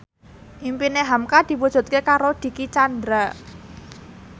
impine hamka diwujudke karo Dicky Chandra